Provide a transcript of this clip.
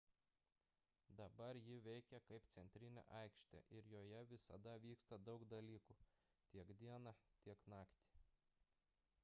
dabar ji veikia kaip centrinė aikštė ir joje visada vyksta daug dalykų tiek dieną tiek naktį